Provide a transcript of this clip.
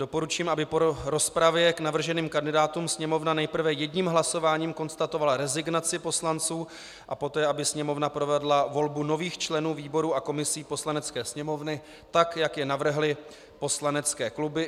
Doporučím, aby po rozpravě k navrženým kandidátům Sněmovna nejprve jedním hlasováním konstatovala rezignaci poslanců a poté aby Sněmovna provedla volbu nových členů výborů a komisí Poslanecké sněmovny tak, jak je navrhly poslanecké kluby.